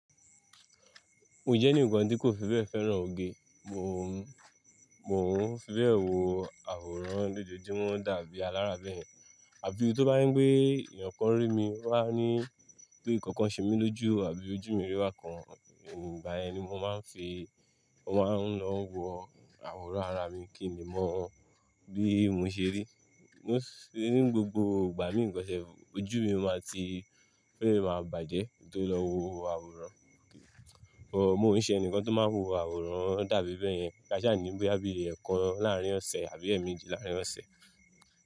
Mo jẹ́ ẹnìkan tí kò fi bẹ́ẹ̀ fẹ́ràn oge. Mò ń, mò ń fi bẹ́ẹ̀ wo àwòrán lójoojúmọ́ dàbí alára bẹ́ẹ̀ yẹn. Àbí tó bá ní pé èèyàn kan rí mi wá ní pé nǹkan ṣe mi lójú àbí ojú mi rí bá kan, ìgbà yẹn ni mo máa ń fi, mo máa ń lọ wo àwòrán ara mi kí ni mọ bí mo ṣe rí. Ní gbogbo ìgbà mí nǹkan ṣe ojú mi máa ti féèfèé máa bàjẹ́ kí n tó lọ wo àwòrán. Óò, mò ń ṣe ẹnìkan tó máa ń wo àwòrán dàbí bẹ́ẹ̀ yẹn káṣíà níbí àbí ẹ̀ẹ̀kan láàrín ọ̀sẹ̀ àbí ẹ̀ẹ̀mejì láàrín ọ̀sẹ̀